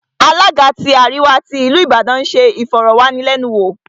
Alága tí àríwá tí ìlú Ìbàdàn ń se ìfọ̀rọ̀wánilẹ́nuwò